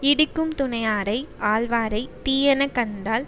இடிக்கும் துணையாரை ஆள்வாரை தீயன கண்டால்